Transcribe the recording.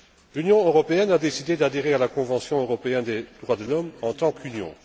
L'Union européenne a décidé d'adhérer à la Convention européenne des droits de l'homme en tant qu'Union.